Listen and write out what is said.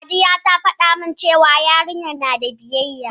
Sadiya ta faɗa min cewa yarinyar na da biyayya.